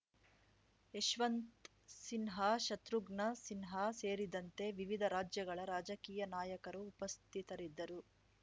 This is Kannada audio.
ಯಶವಂತ್ ಸಿನ್ಹಾ ಶತ್ರುಘ್ನ ಸಿನ್ಹಾ ಸೇರಿದಂತೆ ವಿವಿಧ ರಾಜ್ಯಗಳ ರಾಜಕೀಯ ನಾಯಕರು ಉಪಸ್ಥಿತರಿದ್ದರು